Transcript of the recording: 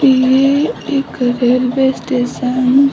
इ एक railway station --